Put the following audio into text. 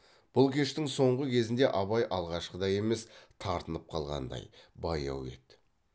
бұл кештің соңғы кезінде абай алғашқыдай емес тартынып қалғандай баяу еді